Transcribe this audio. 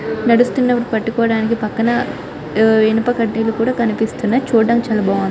నడుస్తున్నపుడు పట్టుకోవడానికి పక్కన హా ఇనుప కడ్డీలు కూడా కనిపిస్తున్నాయి. చుడానికి చాలా బాగా ఉ --